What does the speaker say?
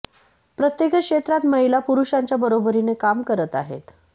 प्रत्येकच क्षेत्रात महिला पुरूषांच्या बरोबरीने काम करत आहेत